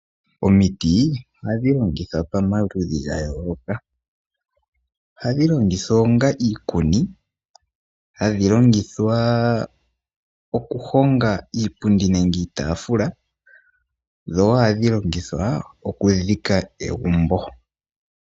Omiti ohadhi longithwa pomaludhi gayooloka. Ohadhi longithwa onga iikuni, hadhi longithwa okuhonga iipundi nenge iitaafula dho woo ohadhi longithwa okudhika egumbo.